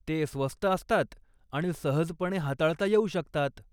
ते स्वस्त असतात आणि सहजपणे हाताळता येऊ शकतात.